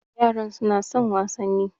Yaran su na son wasanni